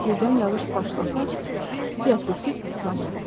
Birdən yağış başlasa, Fia tülkü islanmasın.